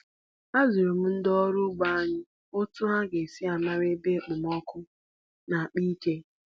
Azụrụ m ndị ọrụ ugbo anyị otú ha ga-esi mara mgbe okpomọkụ na-akpa ike.